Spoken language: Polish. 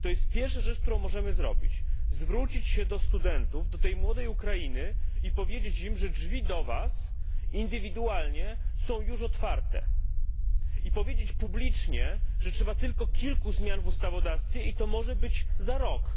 Pierwsza rzecz, jaką możemy zrobić, to zwrócić się do studentów, do tej młodej Ukrainy i powiedzieć im, że drzwi dla nich indywidualnie są już otwarte i powiedzieć publicznie, że trzeba tylko kilku zmian w ustawodawstwie, i to może być za rok.